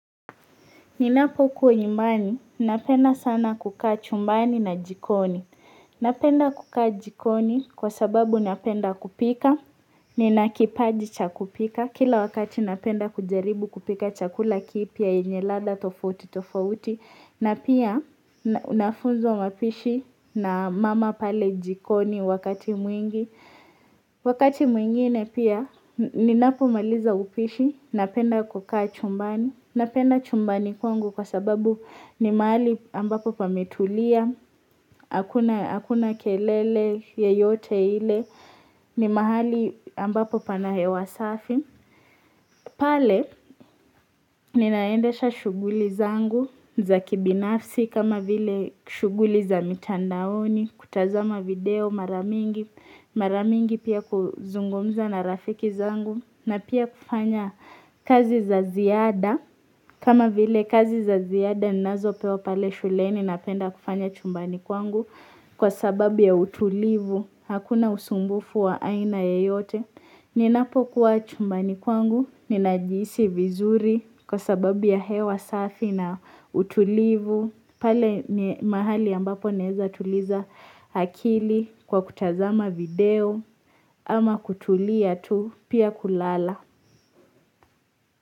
Ninapo kuhimani, napenda sana kukaa chumbani na jikoni. Napenda kukaa jikoni kwa sababu napenda kupika, ninakipaji cha kupika, kila wakati napenda kujaribu kupika chakula kipia, enye lada, tofuti, tofuti, na pia, nafuzo mapishi na mama pale jikoni wakati mwingi. Wakati mwingine pia, ninapomaliza upishi, napenda kukaa chumbani, napenda chumbani kwangu, Kwa sababu ni mahali ambapo pametulia, hakuna kelele ye yote ile, ni mahali ambapo pana hewa safi. Pale, ninaendesha shuguli zangu za kibinafsi kama vile shuguli za mitandaoni, kutazama video maramingi, maramingi pia kuzungumza na rafiki zangu. Na pia kufanya kazi za ziada kama vile kazi za ziada ninazo pewa pale shuleni napenda kufanya chumbani kwangu Kwa sababu ya utulivu Hakuna usumbufu wa aina yeyote Ninapo kuwa chumbani kwangu Ninajiisi vizuri Kwa sababu ya hewa safi na utulivu pale ni mahali ambapo nezatuliza akili Kwa kutazama video ama kutulia tu Pia kulala.